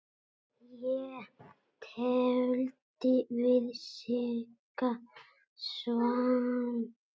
Ég tefldi við Sigga Svamp.